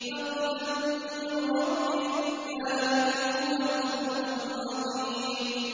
فَضْلًا مِّن رَّبِّكَ ۚ ذَٰلِكَ هُوَ الْفَوْزُ الْعَظِيمُ